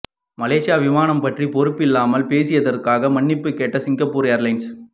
மலேசிய விமானம் பற்றி பொறுப்பில்லாமல் பேசியதற்காக மன்னிப்பு கேட்ட சிங்கப்பூர் ஏர்லைன்ஸ்